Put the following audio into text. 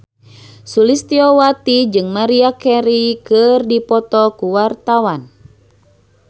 Sulistyowati jeung Maria Carey keur dipoto ku wartawan